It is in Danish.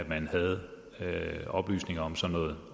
man havde oplysninger om sådan noget